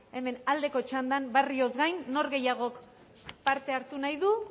hemen aldeko txandan barrioz gain nork gehiagok parte hartu nahi du